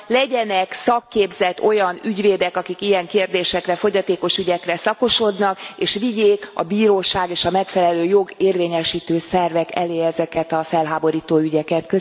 legyenek szakképzett olyan ügyvédek, akik ilyen kérdésekre, fogyatékos ügyekre szakosodnak, és vigyék a bíróság és a megfelelő jogérvényesítő szervek elé ezeket a felháborító ügyeket.